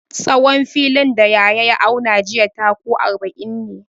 Tsawon filin da Yahaya ya auna jiya taku arba'in ne.